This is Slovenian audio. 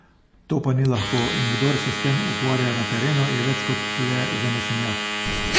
To pa ni lahko, in kdor se s tem ukvarja na terenu, je več kot le zanesenjak.